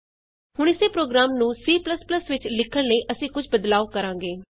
ਹੁਣ ਇਸੇ ਪ੍ਰੋਗਰਾਮਨੂੰ C ਵਿਚ ਲਿਖਣ ਲਈ ਅਸੀਂ ਕੁਝ ਬਦਲਾਉ ਕਰਾਂਗੇ